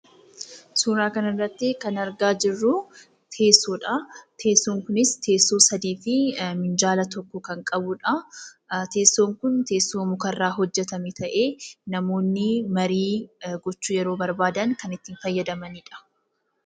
Suura kana irratti kan argaa jirru teessoodha. Teessoon kunis teessoo sadii fi minjaala tokko kan qabudha. Teessoon kun teessoo muka irraa hojjetame ta'ee namoonni marii gochuu yeroo barbaadan kan itti fayyadamanidha.